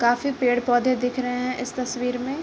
काफी पेड़-पोधे दिख रहे हैं इस तस्वीर में।